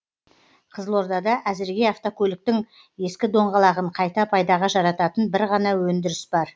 қызылордада әзірге автокөліктің ескі доңғалағын қайта пайдаға жарататын бір ғана өндіріс бар